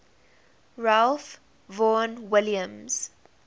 ralph vaughan williams